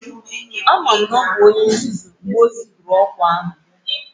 Ama m na ọ bụ onye nzuzu mgbe o mere ọkwa ahụ